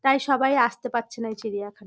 তাই সবাই আসতে পারছেনা এই চিড়িয়াখানা--